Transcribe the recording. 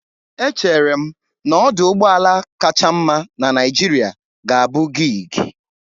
Echere m na ọdụ ụgbọ ala kacha mma na Naịjirịa ga-abụ GIG